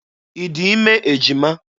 Ị dị ime ejima?